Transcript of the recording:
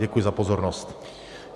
Děkuji za pozornost.